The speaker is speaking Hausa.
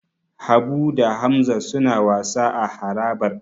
Habu da Hamza suna wasa a harabar.